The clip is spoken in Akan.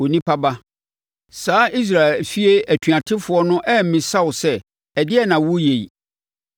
“Onipa ba, saa Israel efie atuatefoɔ no ammisa wo sɛ, ‘Ɛdeɛn na woreyɛ yi?’